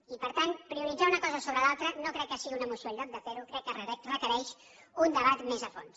i per tant prioritzar una cosa sobre l’altra no crec que sigui una moció el lloc de fer ho crec que requereix un debat més a fons